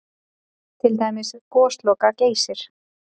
Til dæmis Gosloka-Geysir?